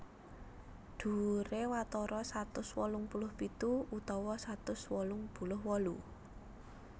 Dhuwuré watara satus wolung puluh pitu utawa satus wolung puluh wolu